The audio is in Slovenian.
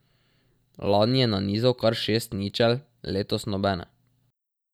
Lani je nanizal kar šest ničel, letos nobene.